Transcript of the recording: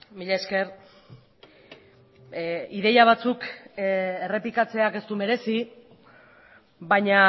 mila esker ideia batzuk errepikatzeak ez du merezi baina